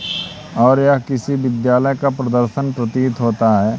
और यह किसी विद्यालय का प्रदर्शन प्रतीत होता है।